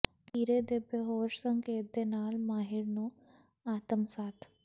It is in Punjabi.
ਖੀਰੇ ਦੇ ਬੇਹੋਸ਼ ਸੰਕੇਤ ਦੇ ਨਾਲ ਮਾਹਿਰ ਨੂੰ ਆਤਮਸਾਤ